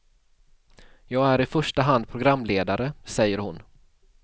Jag är i första hand programledare, säger hon.